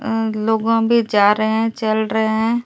अं लोग अभी जा रहे हैं चल रहे हैं।